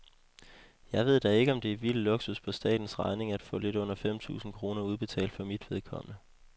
Jeg ved da ikke, om det er vild luksus på statens regning af få lidt under fem tusind kroner udbetalt for mit vedkommende.